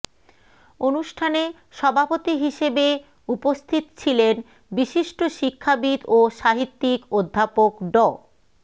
অনুষ্ঠানে সভাপতি হিসেবে উপস্থিত ছিলেন বিশিষ্ট শিক্ষাবিদ ও সাহিত্যিক অধ্যাপক ড